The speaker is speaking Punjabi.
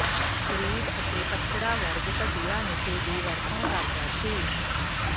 ਗਰੀਬ ਅਤੇ ਪੱਛੜਾ ਵਰਗ ਘਟੀਆ ਨਸ਼ੇ ਦੀ ਵਰਤੋਂ ਕਰਦਾ ਸੀ